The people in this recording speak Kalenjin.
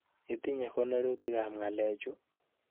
Iitine konorutikap ng'alekchu?